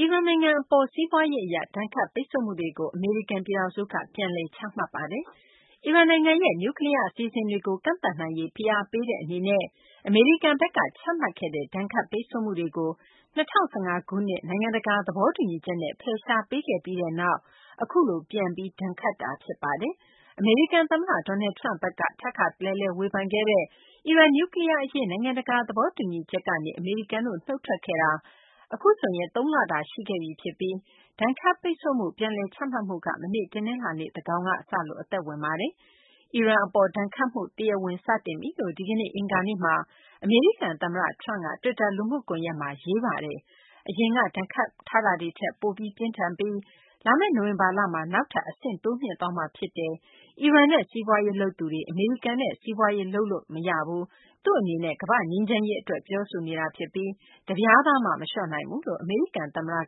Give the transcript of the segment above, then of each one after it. အီရန်နိုင်ငံ အပေါ် စီးပွားရေး အရ ဒဏ်ခတ်ပိတ်ဆို့မှုတွေကို အမေရိကန် ပြည်ထောင်စုက ပြန်လည် ချမှတ်လိုက်ပါတယ်။ အီရန်နိုင်ငံရဲ့ နျူးကလီးယား အစီအစဉ်တွေကို ကန့်သတ်နိုင်ရေး ဖိအားပေးတဲ့ အနေနဲ့ အမေရိကန်ဘက်က ချမှတ်ခဲ့တဲ့ ဒဏ်ခတ်ပိတ်ဆို့မှုတွေကို ၂၀၁၅ ခုနှစ် နိုင်ငံတကာ သဘောတူညီချက်နဲ့ ဖယ်ရှားပေးခဲ့ပြီးနောက် အခုလို ပြန်ပြီး ဒဏ်ခတ်တာ ဖြစ်ပါတယ်။ အမေရိကန် သမ္မတ Donald Trump ဘက်က ထပ်ခါတလဲလဲ ဝေဖန်ခဲ့တဲ့ အီရန် နျူးကလီးယား အရေး နိုင်ငံတကာ သဘောတူညီချက်ကနေ အမေရိကန်တို့ နုထ်ထွက်ခဲ့တာ အခုဆိုရင် သုံးလတာ ရှိခဲ့ပြီ ဖြစ်ပြီး ဒဏ်ခတ်ပိတ်ဆို့မှု ပြန်လည် ချမှတ်မှုက မနေ့ တနလာၤနေ့ သန်းခေါင်က စလို့ အသက်ဝင်ပါတယ်။ အီရန် အပေါ် ဒဏ်ခတ်မှုက တရားဝင် စတင်ပြီလို့ ဒီနေ့ အင်္ဂါနေ့မှာ အမေရိကန် သမ္မတ Trump က တွစ်တာ လူမှုကွန်ယက်မှာ ရေးပါတယ်။ အရင်က ဒဏ်ခတ်မှုတွေထက် ပိုပြီး ပြင်းထန်ပြီး လာမယ့် နိုဝင်ဘာလမှာ နောက်ထပ် အဆင့်တိုးမြှင့်သွားမှာ ဖြစ်တယ်၊ အီရန်နဲ့ စီးပွားရေး လုပ်သူတွေ အမေရိကန်နဲ့ စီးပွားရေး လုပ်လို့ရမှာ မဟုတ်ဘူး။ သူ့အနေနဲ့ ကမ္ဘာ့ငြိမ်းချမ်းရေး အတွက် ပြောဆိုနေတာ ဖြစ်ပြီး တပြားသားမှ မလျှော့နိုင်ဘူးလို့ အမေရိကန် သမ္မတ Donald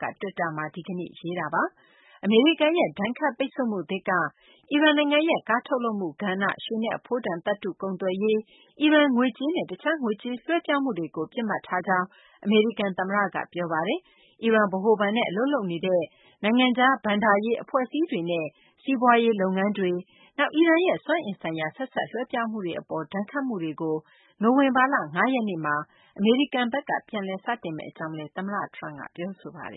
Trump က တွစ်တာမှာ ဒီကနေ့ ရေးခဲ့တာပါ။ အမေရိကန်ရဲ့ ဒဏ်ခတ်ပိတ်ဆို့မှုသစ်က အီရန်နိုင်ငံရဲ့ ကားထုတ်လုပ်မှု ကဏ္ဍ၊ ရွှေနဲ့ အဖိုးတန် သတ္တု ကုန်သွယ်ရေး၊ အီရန် ငွေကြေးနဲ့ တခြား ငွေကြေး လွှဲပြောင်းမှုတွေကို ပစ်မှတ်ထားကြောင်း အမေရိကန် သမ္မတ Trump က ပြောပါတယ်။ အီရန် ဗဟိုဘဏ်နဲ့ အလုပ်လုပ်နေတဲ့ နိုင်ငံခြား ဘဏ္ဍာရေး အဖွဲ့အစည်းတွေရဲ့ စီးပွားရေး လုပ်ငန်းတွေ၊ နောက် အီရန်ရဲ့ စွမ်းအင် ဆိုင်ရာ ဆက်စပ် လွှဲပြောင်းမှုတွေ အပေါ် ဒဏ်ခတ်မှုတွေကို နိုဝင်ဘာလ ၅ ရက်နေ့မှာ အမေရိကန် ဘက်က ပြန်လည် စတင်မယ့် အကြောင်းလည်း သမ္မတ Trum က ပြောဆိုပါတယ်